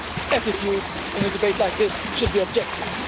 Attitudes in a debate like this should be objective.